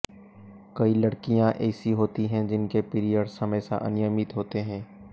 कई लड़कियां ऐसी होती हैं जिनके पीरियड्स हमेशा अनियमित होते हैं